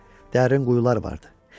Dərin quyular vardı.